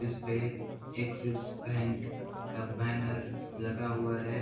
जिसपे Axis bank का banner लगा हुआ हैं।